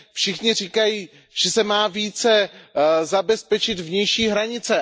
Všichni říkají, že se má více zabezpečit vnější hranice.